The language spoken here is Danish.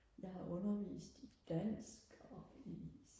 jeg har undervist i dansk og i